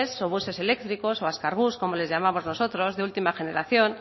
o buses eléctricos o azkar bus como los llamamos nosotros de última generación